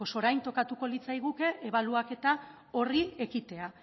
orain tokatuko litzaiguke ebaluaketa horri ekitea